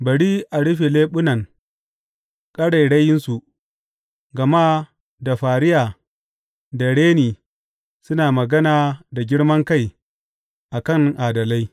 Bari a rufe leɓunan ƙarairayinsu, gama da fariya da reni suna magana da girman kai a kan adalai.